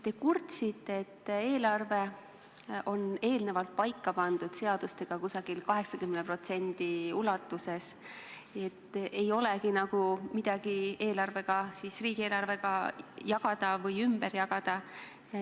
Te kurtsite, et eelarve on eelnevalt seadustega paika pandud umbes 80% ulatuses, et ei olegi nagu midagi riigieelarvega jagada või ümber jagada.